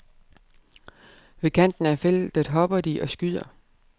Ved kanten af feltet hopper de og skyder.